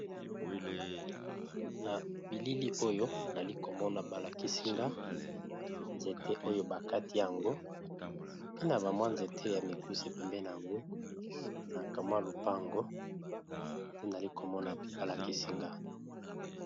Na bilili oyo nali komona ba lakisi nga nzete oyo ba kati yango, pe na ba mwa nzete ya mikuse pembeni na yango na kamwa lopango te nali komona ba lakisi nga.